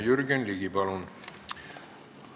Jürgen Ligi, palun!